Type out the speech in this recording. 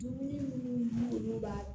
Dumuni munnu olu b'a